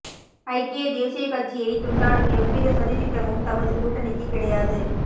ஐக்கிய தேசிய கட்சியைத் துண்டாடும் எவ்வித சதித்திட்டமும் தமது கூட்டணிக்குக் கிடையாது